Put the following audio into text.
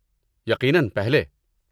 یقیناً پہلے۔